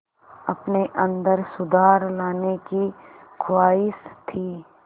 अपने अंदर सुधार लाने की ख़्वाहिश थी